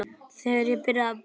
Þegar ég byrjaði að búa.